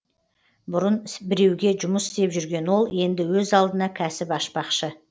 бұрын біреуге жұмыс істеп жүрген ол енді өз алдына кәсіп ашпақшы